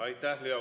Aitäh!